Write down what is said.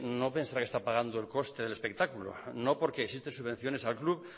no pensará que está pagando el coste del espectáculo no porque existen subvenciones al club